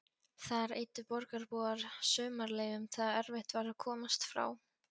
Þar eyddu borgarbúar sumarleyfum þegar erfitt var að komast frá